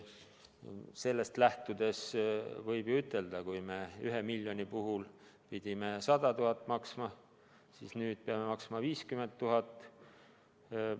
Sellest lähtudes võib ju ütelda, et kui me seni pidime 1 miljoni puhul maksma 100 000, siis nüüd peame maksma 50 000.